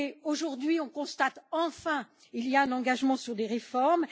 Aujourd'hui, on constate enfin qu'il y a un engagement sur des réformes.